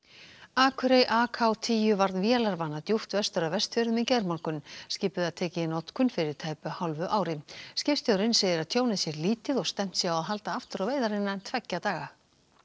akurey AK tíu varð vélarvana djúpt vestur af Vestfjörðum í gærmorgun skipið var tekið í notkun fyrir tæpu hálfu ári skipstjórinn segir að tjónið sé lítið og stefnt sé á að halda aftur á veiðar innan tveggja daga